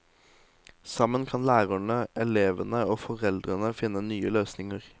Sammen kan lærerne, elevene og foreldrene finne nye løsninger.